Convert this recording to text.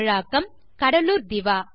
தமிழாக்கம் கடலூர் திவா